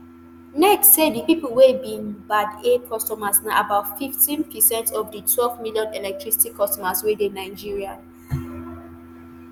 nerc say di pipo wey be band a customers na about fifteen percent of di twelve million electricity customer wey dey nigeria